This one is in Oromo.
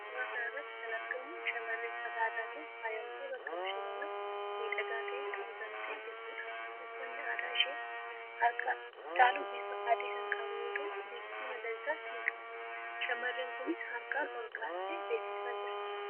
Suuraa kana irratti kan argamu shamarree uffata aadaatiin faayamtee bakka bashannanaa miidhagaa ta'etti argamtee jirtuudha. Uffatni aadaa ishees harka caalu bifa adii kan qabu yoo ta'u, bifti magariisaas ni qaba. Shamarreen kunis harkaan ol kaastee beeksisaa jirti.